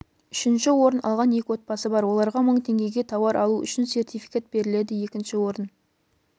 үшінші орын алған екі отбасы бар оларға мың теңгеге тауар алу үшін сертификат беріледі екінші орын